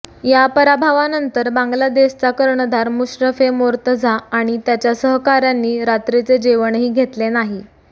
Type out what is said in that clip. या पराभवानंतर बांगलादेशचा कर्णधार मुश्रफे मोर्तझा आणि त्याच्या सहकाऱ्यांनी रात्रीचे जेवणही घेतले नाही